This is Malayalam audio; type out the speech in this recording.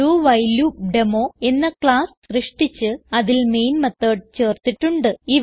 ഡൌഹിലേടെമോ എന്ന ക്ലാസ്സ് സൃഷ്ടിച്ച് അതിൽ മെയിൻ മെത്തോട് ചേർത്തിട്ടുണ്ട്